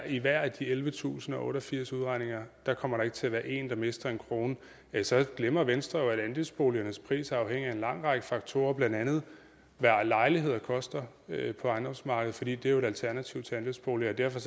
i hver af de ellevetusinde og otteogfirs udregninger kommer der ikke til at være en der mister en krone så glemmer venstre jo at andelsboligernes pris afhænger af en lang række faktorer blandt andet hvad lejligheder koster på ejendomsmarkedet for det er jo et alternativ til andelsboliger derfor